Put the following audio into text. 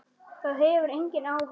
Það hefur engin áhrif.